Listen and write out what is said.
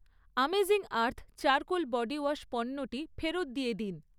Amazing earth charcoal body wash পণ্যটি ফেরত দিয়ে দিন।